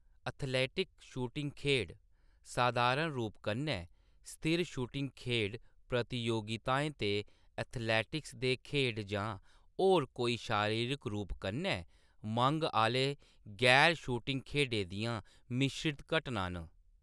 Athletic shooting खेढ सधारण रूप कन्नै स्थिर शूटिंग खेढ प्रतियोगिताएं ते एथलेटिक्स दे खेढ जां होर कोई शारीरिक रूप कन्नै मंग आह्‌‌‌ले गैर-शूटिंग खेढें दियां मिश्रत घटनां न।